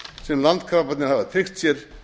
sem landkrabbarnir hafa tryggt sér